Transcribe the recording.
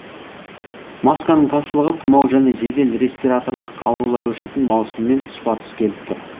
масканың тапшылығы тұмау мен жедел респираторлық аурулар өршитін маусыммен тұспа тұс келіп тұр